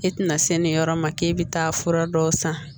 E tɛna se nin yɔrɔ ma k'e bɛ taa fura dɔw san